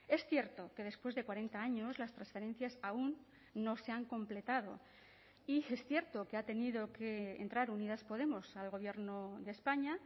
es cierto que después de cuarenta años las transferencias aún no se han completado y es cierto que ha tenido que entrar unidas podemos al gobierno de españa